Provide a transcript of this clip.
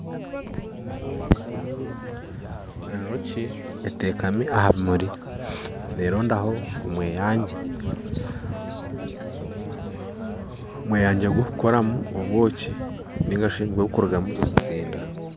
Enjooki eteekami aha bimuri nerondaho omweyangi omweyangi gwokukoramu obwoki narishi ogukurugamu nigwo gukurigamu obuzinda.